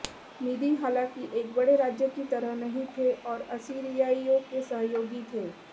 मीदि हाँलाकि एक बड़े राज्य की तरह नहीं थे और असीरियाइयों के सहयोगी थे